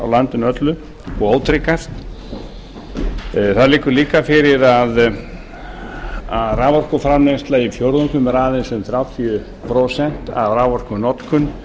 á landinu öllu og ótryggast það liggur líka fyrir að raforkuframleiðsla í fjórðungnum er aðeins um þrjátíu prósent af raforkunotkun